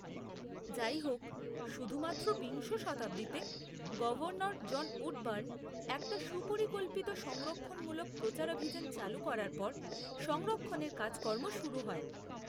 যাইহোক, শুধুমাত্র বিংশ শতাব্দীতে গভর্নর জন উডবার্ন একটা সুপরিকল্পিত সংরক্ষণমূলক প্রচারাভিযান চালু করার পর সংরক্ষণের কাজকর্ম শুরু হয়।